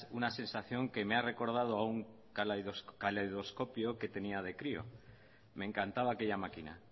una sensación que me ha recordado a un caleidoscopio que tenía de crío me encantaba aquella máquina